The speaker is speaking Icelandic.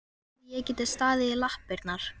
Hefði ég getað staðið í lappirnar?